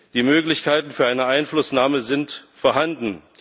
Die Möglichkeiten für eine Einflussnahme sind vorhanden.